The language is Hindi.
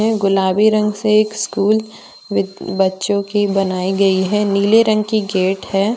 गुलाबी रंग से एक स्कूल ब बच्चों की बनाई गई है नीले रंग की गेट है।